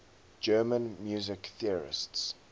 german music theorists